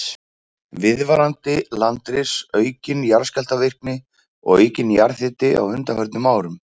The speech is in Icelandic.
Viðvarandi landris, aukin jarðskjálftavirkni og aukinn jarðhiti á undanförnum árum.